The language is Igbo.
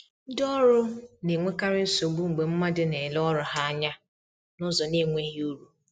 Ndi ọrụ na-enwekarị nsogbu mgbe mmadụ na-ele ọrụ ha anya n’ụzọ na-enweghị uru